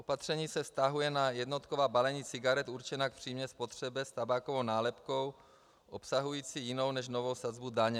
Opatření se vztahuje na jednotková balení cigaret určená k přímé spotřebě s tabákovou nálepkou obsahující jinou než novou sazbu daně.